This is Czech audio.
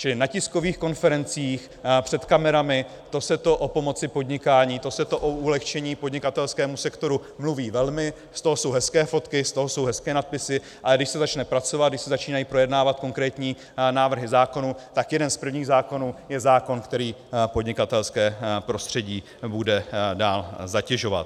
Čili na tiskových konferencích, před kamerami, to se to o pomoci podnikání, to se to o ulehčení podnikatelskému sektoru mluví velmi, z toho jsou hezké fotky, z toho jsou hezké nadpisy, ale když se začne pracovat, když se začínají projednávat konkrétní návrhy zákonů, tak jeden z prvních zákonů je zákon, který podnikatelské prostředí bude dál zatěžovat.